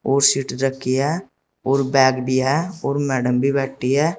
और सीट रखी है और बैग भी है और मैडम भी बैठी है।